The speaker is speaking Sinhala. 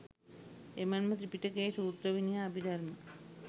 එමෙන්ම ත්‍රිපිටකයේ සූත්‍ර විනය අභිධර්ම